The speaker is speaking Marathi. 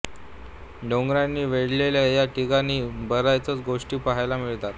डोंगरांनी वेढलेल्या या ठिकाणी बरयाच गोष्टी पाहायला मिळतात